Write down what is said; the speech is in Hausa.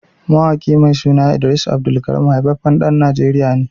Mawaƙi mai suna Idris AbdulKareem haifaffen ɗan najeriya ne